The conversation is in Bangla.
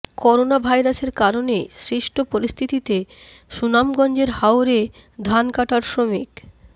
করোনাভাইরাসের কারণে সৃষ্ট পরিস্থিতিতে সুনামগঞ্জের হাওরে ধান কাটার শ্রমি